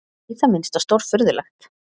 Í það minnsta stórfurðulegt.